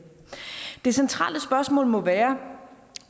det centrale spørgsmål må være